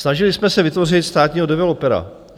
Snažili jsme se vytvořit státního developera.